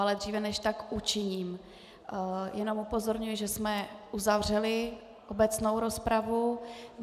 Ale dříve než tak učiním, jenom upozorňuji, že jsme uzavřeli obecnou rozpravu.